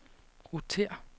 rotér